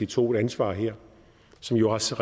tog et ansvar her som jo også